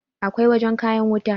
akwai wajen kayan wuta